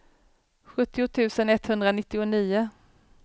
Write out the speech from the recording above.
sjuttio tusen etthundranittionio